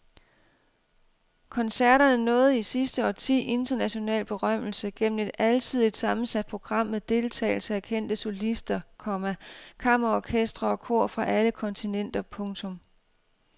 Koncerterne nåede i sidste årti international berømmelse gennem et alsidigt sammensat program med deltagelse af kendte solister, komma kammerorkestre og kor fra alle kontinenter. punktum